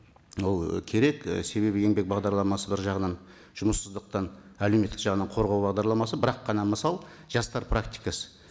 ол і керек і себебі еңбек бағдарламасы бір жағынан жұмыссыздықтан әлеуметтік жағынан қорғау бағдарламасы бір ақ қана мысал жастар практикасы